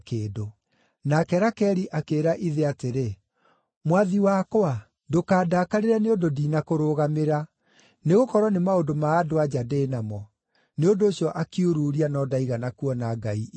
Nake Rakeli akĩĩra ithe atĩrĩ, “Mwathi wakwa, ndũkandakarĩre nĩ ũndũ ndinakũrũgamĩra; nĩgũkorwo nĩ maũndũ ma andũ-a-nja ndĩ namo.” Nĩ ũndũ ũcio akiururia no ndaigana kuona ngai icio.